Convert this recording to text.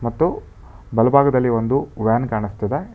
ಮತ್ತು ಬಲಭಾಗದಲ್ಲಿ ಒಂದು ವ್ಯಾನ್ ಕಾಣಿಸ್ತಿದೆ.